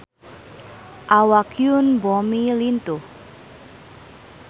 Awak Yoon Bomi lintuh